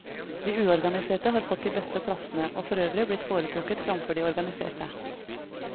De uorganiserte har fått de beste plassene, og for øvrig blitt foretrukket framfor de organiserte.